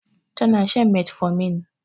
Tana shan metformin